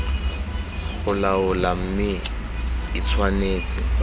go laola mme e tshwanetse